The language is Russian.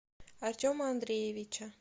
артема андреевича